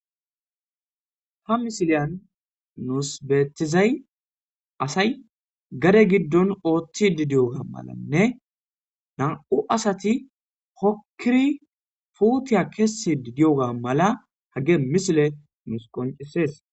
ha misiliyan nuus beetizay asay gare giddon ooththi didiyoga malanne nam7u asati hokkiri puutiya kessi didiyoga mala hage misile nus qoncisees